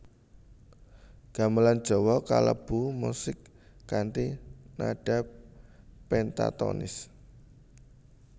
Gamelan Jawa kalebu musik kanthi nada pentatonis